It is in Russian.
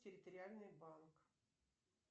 территориальный банк